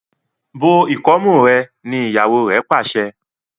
bó ikọmu rẹ! ní ìyàwó re pàṣẹ.